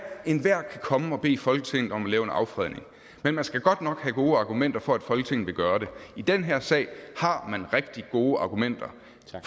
enhver kan komme og bede folketinget om at lave en affredning men man skal godt nok have gode argumenter for at folketinget vil gøre det i den her sag har man rigtig gode argumenter